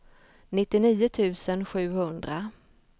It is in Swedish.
nittionio tusen sjuhundra